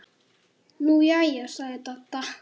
Nú jæja sagði Dadda.